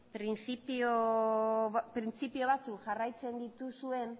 printzipio batzuk jarraitzen dituzuen